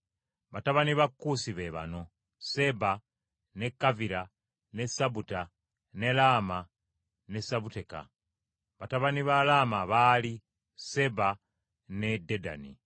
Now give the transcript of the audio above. Batabani ba Kuusi be bano: Seeba, ne Kavira, ne Sabuta, ne Laama ne Sebuteka. Batabani ba Laama baali: Seeba ne Dedani.